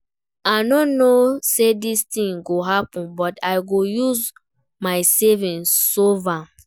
I no know say dis thing go happen but I go use my savings solve am